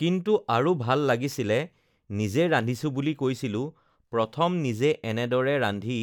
কিন্তু আৰু ভাল লাগিছিলে নিজে ৰান্ধিছোঁ বুলি কৈছিলোঁ প্ৰথম নিজে এনেদৰে ৰান্ধি